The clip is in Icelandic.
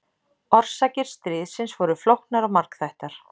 Orsakir stríðsins voru flóknar og margþættar.